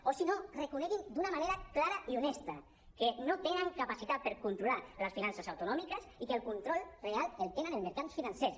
o si no reconeguin d’una manera clara i honesta que no tenen capacitat per controlar les finances autonòmiques i que el control real el tenen els mercats financers